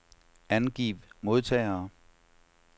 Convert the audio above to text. Angiv modtagere.